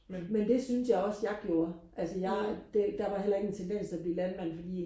men det synes jeg også jeg gjorde altså jeg det der var heller ikke en tendens til at blive landmand fordi